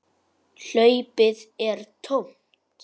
Hlaupið er tómt.